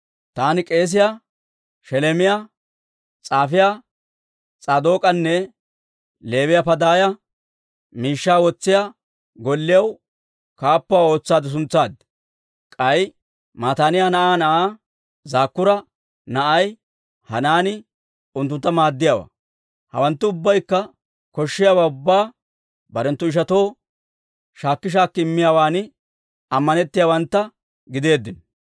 Taani k'eesiyaa Sheleemiyaa, s'aafiyaa S'aadook'anne Leewiyaa Padaaya miishshaa wotsiyaa golliyaw kaappuwaa ootsaade suntsaad. K'ay Mataaniyaa na'aa na'aa Zakkuura na'ay Hanaani unttuntta maaddiyaawaa. Hawanttu ubbaykka koshshiyaawaa ubbaa barenttu ishatoo shaakki shaakki immiyaawan ammanettiyaawantta gideeddino.